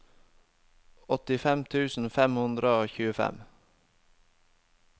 åttifem tusen fem hundre og tjuefem